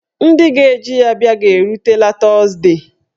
Ndị ga-eji ya bịa ga-erutela tuzdee.